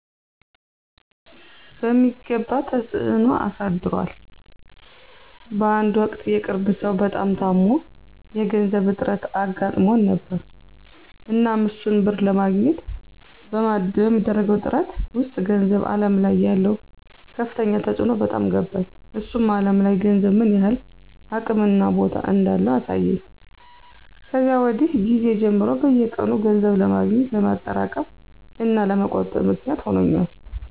በሚገባ ተፅዕኖ አሳድሯል በአንድ ወቅት የቅርብ ሰው በጣም ታሞ የገንዘብ እጥረት አጋጥሞን ነበር። እናም እሱን ብር ለማግኘት በማደርገው ጥረት ውስጥ ገንዘብ አለም ላይ ያለው ከፍተኛ ተፅዕኖ በጣም ገባኝ። እሱም አለም ላይ ገንዘብ ምን ያህል አቅም እና ቦታ እንዳለው አሳየኝ። ከዚያ ወዲህ ጊዜ ጀምሮ በየቀኑ ገንዘብ ለማግኘት፣ ለማጠራቀም፣ እና ለመቆጠብ ምክንያት ሆኖኛል።